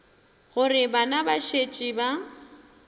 gore bana ba šetše ba